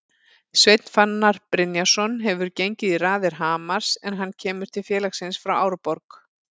Sveinn Fannar Brynjarsson hefur gengið í raðir Hamars en hann kemur til félagsins frá Árborg.